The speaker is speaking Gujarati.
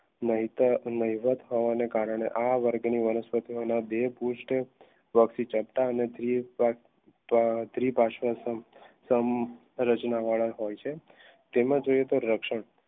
થવાના કારણે આ વર્ગની વનસ્પતિના દે પુસ્થ તમ રચના વાળા હોય છે તેમાં જોઈએ તો રક્ષણ